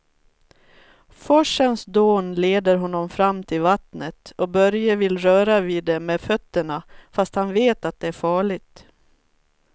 Forsens dån leder honom fram till vattnet och Börje vill röra vid det med fötterna, fast han vet att det är farligt.